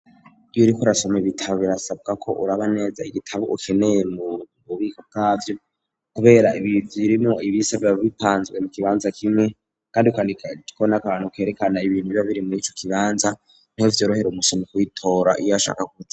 Iyuriko urasoma ibitabo birasabwa ko uraba neza igitabo ukeneye mu bubiko bw'avyo kubera ibi byirimo ibisabe bitanzwe mu kibanza kimwe kandi kwandika kimwe vyerekana ibintu biba biri murico kibanza nivyo vyorohera umusomyi iyo ashaka kuja